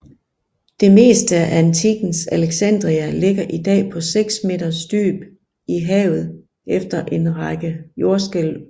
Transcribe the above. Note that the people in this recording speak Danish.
Det meste af antikkens Alexandria ligger i dag på seks meters dyb i havet efter en række jordskælv